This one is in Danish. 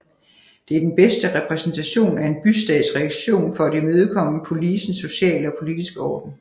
Det er den bedste repræsentation af en bystats reaktion for at imødekomme polisens sociale og politiske orden